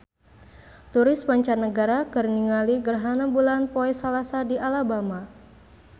Turis mancanagara keur ningali gerhana bulan poe Salasa di Alabama